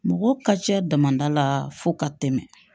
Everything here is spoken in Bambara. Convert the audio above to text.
Mɔgɔ ka cɛ damada la fo ka tɛmɛ